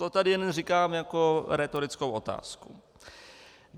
To tady jen říkám jako rétorickou otázku.